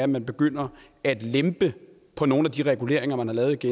man begynder at lempe på nogle af de reguleringer man har lavet